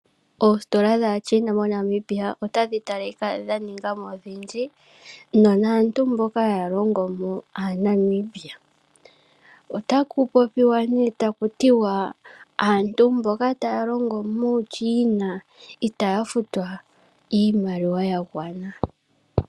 Oositola dhaaChina MoNamibia odha ninga mo odhindji nonando aantu mboka haya longo mo aanamibia yo ihaya futwa iimaliwa ya gwana.